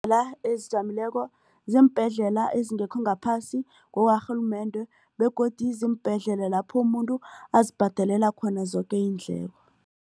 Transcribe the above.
ziimbhedlela ezingekho ngaphasi kwarhulumende begodu ziimbhedlela lapho umuntu azibhadelela khona zoke iindleko.